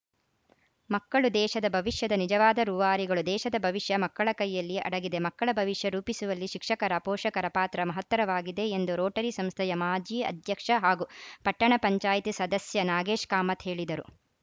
ಮಕ್ಕಳು ದೇಶದ ಭವಿಷ್ಯದ ನಿಜವಾದ ರೂವಾರಿಗಳುದೇಶದ ಭವಿಷ್ಯ ಮಕ್ಕಳ ಕೈಯಲ್ಲಿ ಅಡಗಿದೆಮಕ್ಕಳ ಭವಿಷ್ಯ ರೂಪಿಸುವಲ್ಲಿ ಶಿಕ್ಷಕರಪೋಷಕರ ಪಾತ್ರ ಮಹತ್ತರವಾಗಿದೆ ಎಂದು ರೋಟರಿ ಸಂಸ್ಥೆಯ ಮಾಜಿ ಅಧ್ಯಕ್ಷ ಹಾಗೂ ಪಟ್ಟಣ ಪಂಚಾಯತ್ ಸದಸ್ಯ ನಾಗೇಶ್‌ ಕಾಮತ್‌ ಹೇಳಿದರು